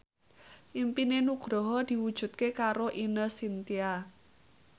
impine Nugroho diwujudke karo Ine Shintya